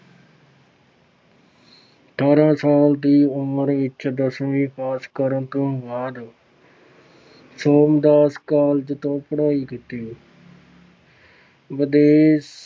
ਅਠਾਰਾਂ ਸਾਲ ਦੀ ਉਮਰ ਵਿੱਚ ਦਸਵੀਂ ਪਾਸ ਕਰਨ ਤੋਂ ਬਾਅਦ ਸੋਮਦਾਸ college ਤੋਂ ਪੜ੍ਹਾਈ ਕੀਤੀ ਵਿਦੇਸ਼